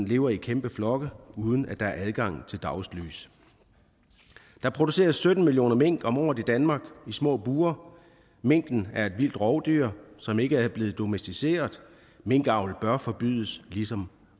lever i kæmpe flokke uden at der er adgang til dagslys der produceres sytten millioner mink om året i danmark i små bure minken er et vildt rovdyr som ikke er blevet domesticeret minkavl bør forbydes ligesom